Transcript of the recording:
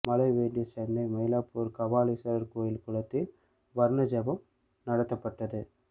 மழை வேண்டி சென்னை மயிலாப்பூர் கபாலீஸ்வரர் கோயில் குளத்தில் வருண ஜெபம் நடத்தப்பட்டது